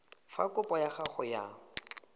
fa kopo ya gago ya